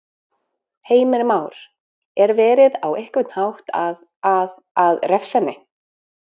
Heimir Már: Er verið, á einhvern hátt að, að, að refsa henni?